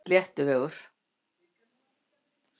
Sléttuvegi